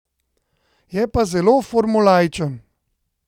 Je pa zelo formulaičen.